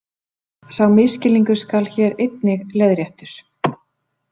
Sá misskilningur skal hér einnig leiðréttur.